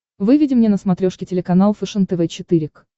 выведи мне на смотрешке телеканал фэшен тв четыре к